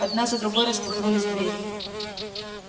одна за другой распахнулись двери